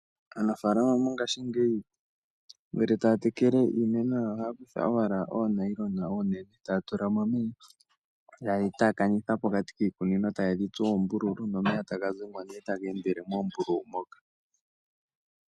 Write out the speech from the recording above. Aanafaalama mongaashingeyi ngele taa tekele iimeno yawo, ohaa kutha owala oonayilona oonene , taa tula mo omeya taye dhi taakanitha pokati kiikunino, taye dhi tsu oombululu nomeya taga zimo nee taga endele moombululu moka.